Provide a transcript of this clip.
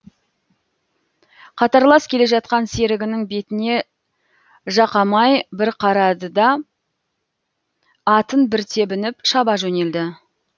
қатарлас келе жатқан серігінің бетіне жақамай бір қарады да атын бір тебініп шаба жөнелді